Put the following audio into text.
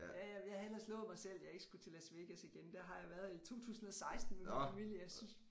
Ja ja jeg havde ellers lovet mig selv jeg ikke skulle til Las Vegas igen der har jeg været i 2016 med min familie